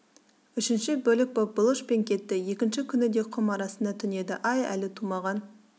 үшінші бөлік боп бұлыш пен кетті екінші күні де құм арасында түнеді ай әлі тумаған